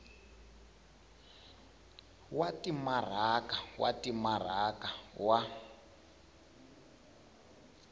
wa timaraka wa timaraka wa